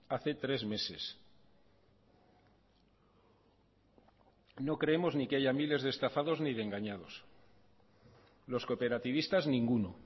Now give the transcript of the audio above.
hace tres meses no creemos ni que haya miles de estafados ni de engañados los cooperativistas ninguno